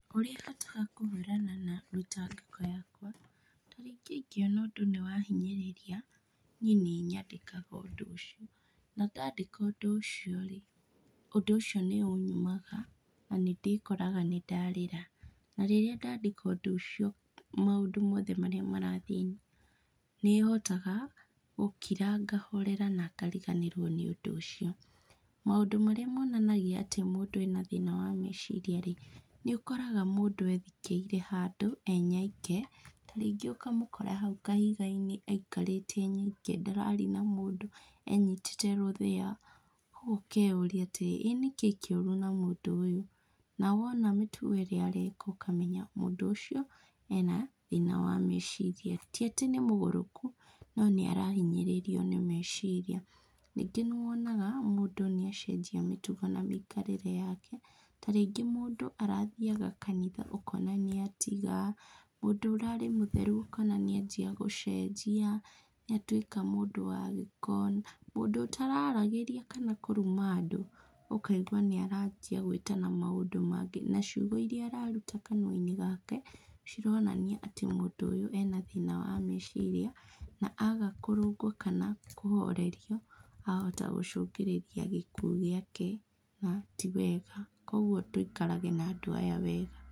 Ũrĩa hotaga kũhũrana na mĩtangĩko yakwa, ta rĩngĩ ingĩona ũndũ nĩwahinyĩrĩria, niĩ nĩnyandĩkaga ũndũ ũcio, na ndandĩka ũndũ ũcio-rĩ, ũndũ ũcio nĩũnyumaga na nĩndĩkoraga nĩndarĩra. Na rĩria ndandĩka ũndũ ũcio maũndũ marĩa mothe marathiĩ nĩhotaga gũkira, ngahorera na ngariganĩrwo nĩ ũndũ ũcio. Maũndũ marĩa monanagia atĩ mũndũ ena thĩna wa meciria-rĩ, nĩũkoraga mũndũ ethikĩire handũ enyoike, ta rĩngĩ ũkamũkora hau kahiga-inĩ aikarĩte e nyoike ndararia na mũndũ enyitĩte rũthĩa, ũguo ũkeyũria atĩrĩrĩ ĩ nĩkĩĩ kĩũru na mũndũ ũyũ, na wona mĩtugo ĩrĩa areka ũkamenya mũndũ ũcio ena thĩna wa meciria. Ti atĩ nĩmũgũrũku, no nĩarahinyĩrĩrio nĩ meciria. Rĩngĩ nĩwonaga mũndũ nĩacenjia mĩtugo na mĩikarĩre yake. Ta rĩngĩ mũndũ arathiaga kanitha ũkona nĩatiga, mũndũ ũrarĩ mũtheru ũkona nĩanjia gũcenjia nĩatuĩka mũndũ wa gĩko. Mũndũ ũtararagĩria kana kũruma andũ, ũkaigua nĩaranjia gwĩtana maũndũ mangĩ, na ciugo iria araruta kanua-inĩ gake cironania atĩ mũndũ ũyũ ena thĩna wa meciria na aga kũrũngwo kana kũhorerio, ahota gũcũngĩrĩria gĩkuũ gĩake na ti wega. Koguo tũikarage na andũ aya wega.